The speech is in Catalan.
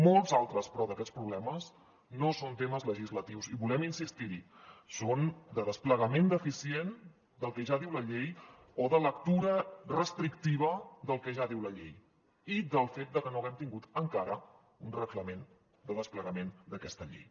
molts altres però d’aquests problemes no són temes legislatius i volem insistir hi són de desplegament deficient del que ja diu la llei o de lectura restrictiva del que ja diu la llei i del fet que no haguem tingut encara un reglament de desplegament d’aquesta llei